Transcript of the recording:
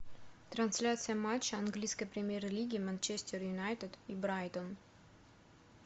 трансляция матча английской премьер лиги манчестер юнайтед и брайтон